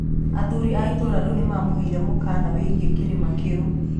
Athuri a itũũra rĩu nĩ maamũheire mũkaana wĩgiĩ kĩrĩma kĩu.